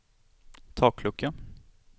taklucka